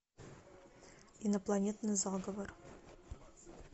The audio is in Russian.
инопланетный заговор